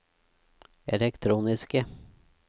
elektroniske